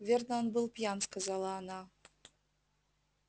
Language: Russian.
верно он был пьян сказала она